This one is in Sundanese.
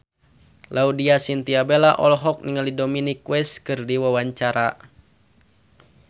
Laudya Chintya Bella olohok ningali Dominic West keur diwawancara